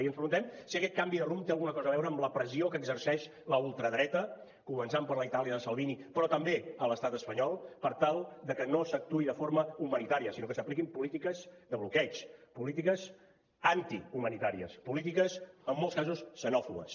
i ens preguntem si aquest canvi de rumb té alguna cosa a veure amb la pressió que exerceix la ultradreta començant per la itàlia de salvini però també a l’estat espanyol per tal de que no s’actuï de forma humanitària sinó que s’apliquin polítiques de bloqueig polítiques antihumanitàries polítiques en molts casos xenòfobes